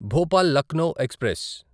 Bhopal Lucknow express